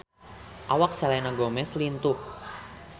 Awak Selena Gomez lintuh